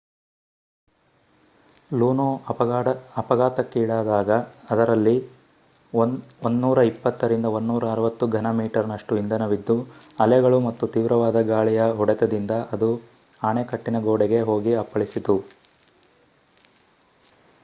ಲೂನೋ ಅಫಘಾತಕ್ಕೀಡಾದಾಗ ಅದರಲ್ಲಿ 120-160 ಘನ ಮೀಟರ್ನಷ್ಟು ಇಂಧನವಿದ್ದು ಅಲೆಗಳು ಮತ್ತು ತೀವ್ರವಾದ ಗಾಳಿಯ ಹೊಡೆತದಿಂದ ಅದು ಅಣೆಕಟ್ಟಿನ ಗೋಡೆಗೆ ಹೋಗಿ ಅಪ್ಪಳಿಸಿತು